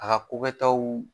A ka ko kɛ taw